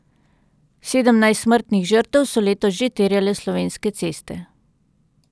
Sedemnajst smrtnih žrtev so letos že terjale slovenske ceste.